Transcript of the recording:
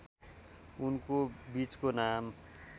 उनको बीचको नाम